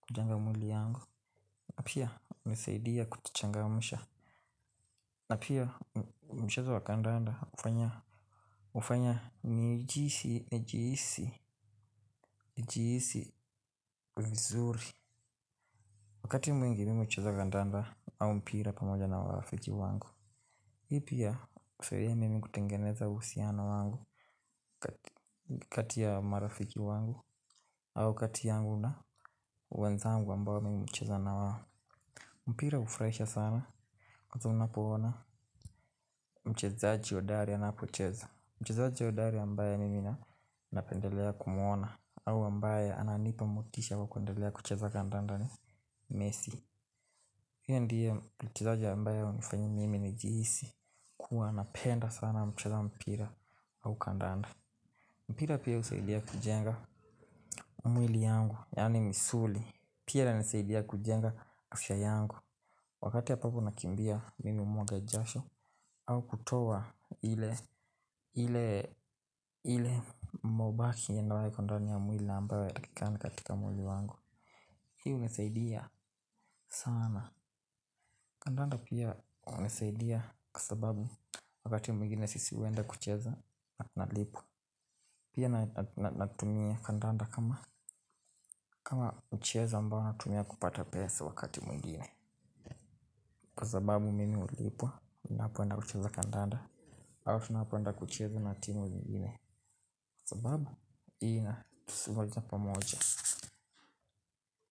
Kujenga mwili yangu. Na pia unisaidia kutichangamisha. Na pia mchezo wa kandanda Ufanya Ufanya Nijisi Nijisi Nijiisi Vizuri Wakati mwingi mimi ucheza kandanda au mpira pamoja na wafiji wangu. Hii pia kufiria mimi kutengeneza usiana wangu kati ya marafiki wangu au kati yangu na wenzangu ambao mimi hucheza na wao. Mpira ufraisha sana Kato mna poona. Mchezaaji wa hodari anapocheza. Mchezaaji hodari ambaye mimi napendelea kumuona au ambaye ananipa motisha kwa kuendelea kucheza kandanda ni messi yeye ndiye mchezaaji ambaye unifanyi mimi nijiisi kuwa napenda sana mchaza mpira au kandanda. Mpira pia usaidia kujenga mwili yangu, yani misuli mpira unisaidia kujenga afya yangu, wakati ya papu nakimbia. Mimi mwaga jasho au kutowa ile Ile Ile mobaki yenda wae kandani ya mwili ambawa ya takikani katika mwili wangu. Hiu nisaidia sana. Kandanda pia unisaidia kwa sababu wakati mwingine sisi wenda kucheza na tunalipwa. Pia natumia kandanda kama ucheza mbao natumia kupata pesa wakati mungine. Kwa sababu mimi ulipo, na hapo anda kucheza kandanda. Ayo, na hapo anda kucheza natinu mungine. Kwa sababu, ii na, tusiloja pamoja.